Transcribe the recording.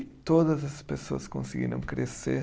E todas as pessoas conseguiram crescer.